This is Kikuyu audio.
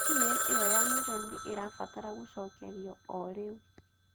Ĩ-meili ĩyo ya mũico nĩ ĩrabatara gũcokerio o rĩu.